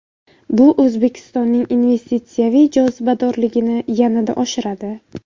Bu O‘zbekistonning investitsiyaviy jozibadorligini yanada oshiradi.